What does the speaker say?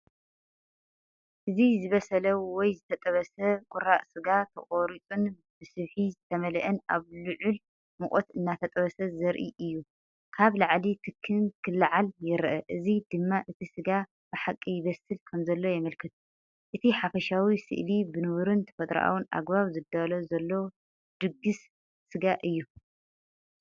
እዚ ዝበሰለ ወይ ዝተጠብሰ ቁራጽ ስጋ፡ተቖሪጹን ብስብሒ ዝተመልአን፡ኣብ ልዑል ሙቐት እናተጠብሰ ዘርኢ እዩ። ካብ ላዕሊ ትክን ክለዓል ይረአ፡እዚ ድማ እቲ ስጋ ብሓቂ ይብሰል ከምዘሎ የመልክት። እቲ ሓፈሻዊ ስእሊ ብንቡርን ተፈጥሮኣውን ኣገባብ ዝዳሎ ዘሎ ድግስ ስጋ እዩ።